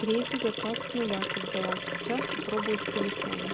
третий заказ с нуля создала сейчас попробую с телефона